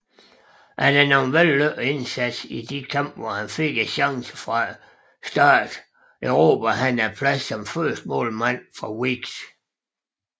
Efter nogle vellykkede indsatser i de kampe hvor han fik chancen fra start erobrede han pladsen som førstemålmand fra Weekes